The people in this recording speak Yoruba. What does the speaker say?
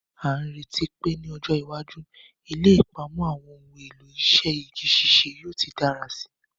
A n retí pe ni ọjọ́ iwájú, ilé ìpamọ́ àwọn ohun èlò iṣẹ́ igi ṣíṣe yóò ti dára síi.